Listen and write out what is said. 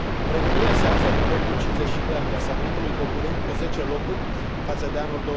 România se află pe locul 52 al clasamentului coborând cu 10 locuri față de anul